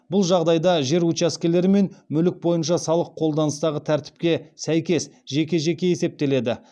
бұл жағдайда жер учаскелері мен мүлік бойынша салық қолданыстағы тәртіпке сәйкес жеке жеке есептеледі